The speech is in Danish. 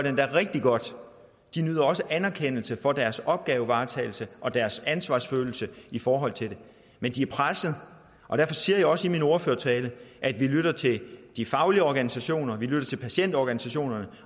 endda rigtig godt de nyder også anerkendelse for deres opgavevaretagelse og deres ansvarsfølelse i forhold til det men de er pressede og derfor siger jeg også i min ordførertale at vi lytter til de faglige organisationer vi lytter til patientorganisationerne